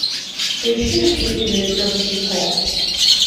поищи на телевизоре пес и ко